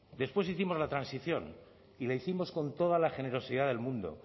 después hicimos la transición y la hicimos con toda la generosidad del mundo